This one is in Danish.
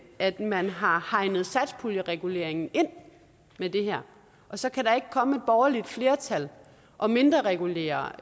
at man har hegnet satspuljereguleringen ind med det her og så kan der ikke komme et borgerligt flertal og mindreregulere